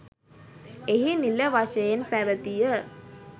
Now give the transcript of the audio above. එහි නිල වශයෙන් පැවතිය